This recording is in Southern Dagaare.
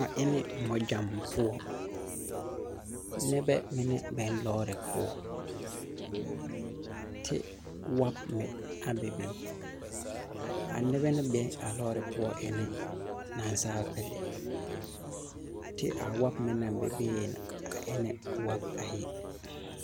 A e ne mɔgyaŋ poɔ nibɛ mine be lɔɔre poɔ ti wɔb meŋ bebe a noba ne be a lɔɔre poɔ e ne nasaalpili ti a wɔb meŋ ne bebe e ne wɔb ayi.